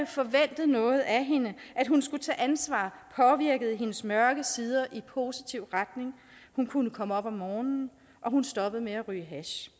forventet noget af hende at hun skulle tage ansvar påvirkede hendes mørke sider i positiv retning hun kunne komme op om morgenen og hun stoppede med at ryge hash